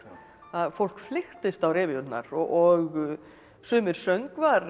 fólk flykktist á revíurnar og sumir söngvar